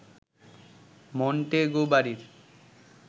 Montague বাড়ির